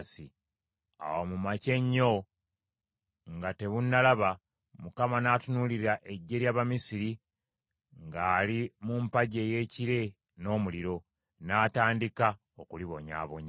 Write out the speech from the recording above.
Awo mu makya ennyo nga tebunnalaba, Mukama n’atunuulira eggye ly’Abamisiri ng’ali mu mpagi ey’ekire n’omuliro, n’atandika okulibonyaabonya.